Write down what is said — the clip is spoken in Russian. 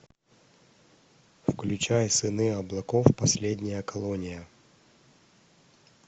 включай сыны облаков последняя колония